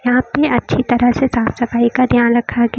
यहां पे अच्छी तरह से साफ सफाई का ध्यान रखा गया--